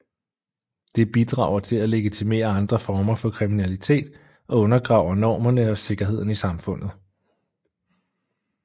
Det bidrager til at legitimere andre former for kriminalitet og undergraver normerne og sikkerheden i samfundet